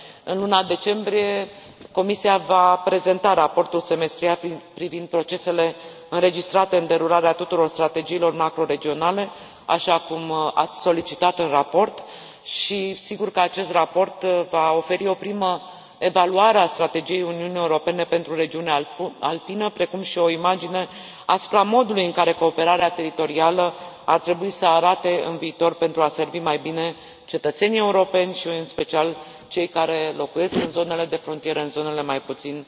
În luna decembrie, Comisia va prezenta raportul semestrial privind procesele înregistrate în derularea tuturor strategiilor macro regionale, așa cum ați solicitat în raport, și, sigur că acest raport va oferi o primă evaluare a strategiei Uniunii Europene pentru regiunea alpină, precum și o imagine asupra modului în care cooperarea teritorială ar trebui să arate în viitor pentru a servi mai bine cetățenii europeni și, în special, pe cei care locuiesc în zonele de frontieră, în zonele mai puțin